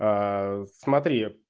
аа смотри